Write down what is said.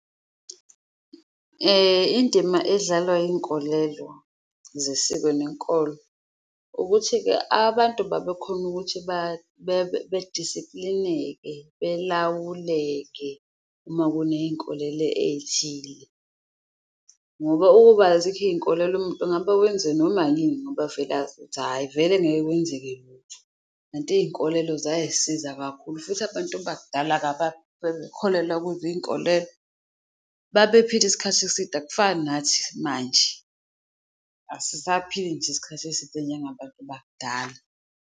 Indima edlalwa iy'nkolelo zesiko nenkolo ukuthi-ke abantu babekhona ukuthi bedisiplineke, belawuleke uma kuneyinkolelo eyithile, ngoba ukuba azikho iy'nkolelo ngabe wenze noma yini ngoba vele azi ukuthi hhayi vele, angeke kwenzeke lutho. Kanti iy'nkolelo ziyisiza kakhulu futhi abantu bakudala bebekholelwa kuzo iyinkolelo babephila isikhathi eside, akufani nathi manje. Asisaphili nje isikhathi eside njengabantu bakudala.